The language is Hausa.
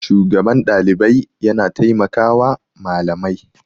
shugaban Ɗalibai yana taimakawa Malamai